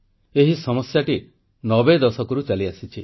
ଏହି ସମସ୍ୟାଟି ନବେ ଦଶକରୁ ଚାଲିଆସିଛି